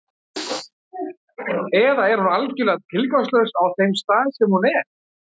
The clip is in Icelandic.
Eða er hún algjörlega tilgangslaus á þeim stað sem hún er?